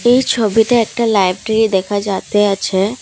এই ছবিতে একটা লাইব্রেরি দেখা যাতে আছে ।